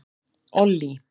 Ollý